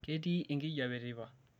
ketii enkijiape teipa